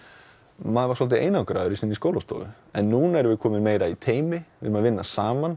maður svolítið einangraður í sinni skólastofu núna erum við komin í meiri teymisvinnu erum að vinna saman